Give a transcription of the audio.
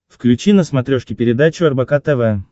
включи на смотрешке передачу рбк тв